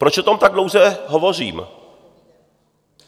Proč o tom tak dlouze hovořím?